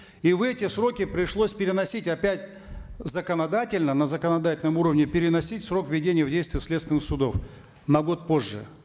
и в эти сроки пришлось переносить опять законодательно на законодательном уровне переносить срок введения в действие следственных судов на год позже